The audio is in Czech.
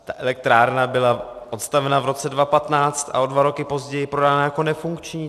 Ta elektrárna byla postavena v roce 2015 a o dva roky později prodána jako nefunkční.